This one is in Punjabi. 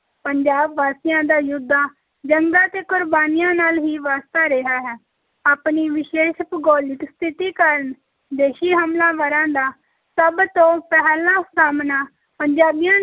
ਪੰਜਾਬ ਵਾਸੀਆਂ ਦਾ ਯੁੱਧਾਂ, ਜੰਗਾਂ ਤੇ ਕੁਰਬਾਨੀਆਂ ਨਾਲ ਹੀ ਵਾਸਤਾ ਰਿਹਾ ਹੈ, ਆਪਣੀ ਵਿਸ਼ੇਸ਼ ਭੂਗੋਲਿਕ ਸਥਿਤੀ ਕਾਰਨ ਵਿਦੇਸ਼ੀ ਹਮਲਾਵਰਾਂ ਦਾ ਸਭ ਤੋਂ ਪਹਿਲਾਂ ਸਾਹਮਣਾ ਪੰਜਾਬੀਆਂ